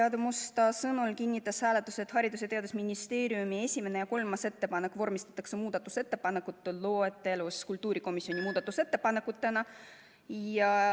Aadu Musta sõnul kinnitas hääletus, et Haridus- ja Teadusministeeriumi esimene ja kolmas ettepanek vormistatakse muudatusettepanekute loetelus kultuurikomisjoni muudatusettepanekutena.